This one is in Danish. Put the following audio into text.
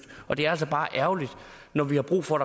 og det er altså bare ærgerligt når vi har brug for